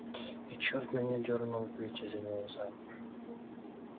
и черт меня дёрнул выйти за него замуж